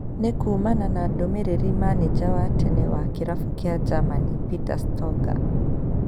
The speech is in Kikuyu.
Nĩ kuumana na ndũmĩrĩri manija wa tene wa kĩrabu kĩa Germany Peter Stoger.